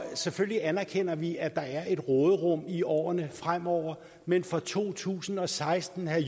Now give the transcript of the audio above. selvfølgelig anerkender vi at der er et råderum i årene fremover men for to tusind og seksten herre